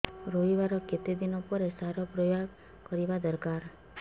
ରୋଈବା ର କେତେ ଦିନ ପରେ ସାର ପ୍ରୋୟାଗ କରିବା ଦରକାର